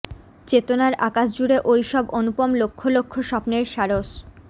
চেতনার আকাশ জুড়ে ওইসব অনুপম লক্ষ লক্ষ স্বপ্নের সারস